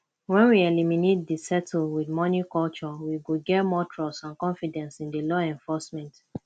when we eliminate di settle with money culture we go get more trust and confidence in di law enforcement